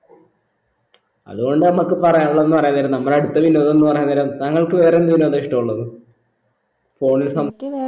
അത് കൊണ്ട് നമ്മക്ക് പറയാനുള്ളെന്ന് പറയാൻ വർന്നെ നമ്മളെ അടുത്തെല്ല് ഇല്ലവര്ന്ന് പറയുന്നേരം താങ്കൾക്ക് വേറെ എന്ത് വിനോദാ ഇഷ്ടമുള്ളത് phone ൽ സം